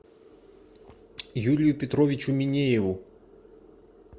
юрию петровичу минееву